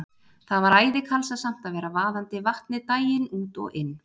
Það var æði kalsasamt að vera vaðandi Vatnið daginn út og inn.